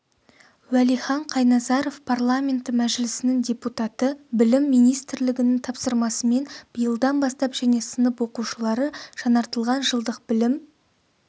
уәлихан қайназаров парламенті мәжілісінің депутаты білім министрлігінің тапсырмасымен биылдан бастап және сынып оқушылары жаңартылған жылдық білім